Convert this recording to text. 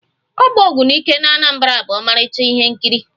Ọgba ogbunike n'Anambra bụ ọmarịcha ihe nkiri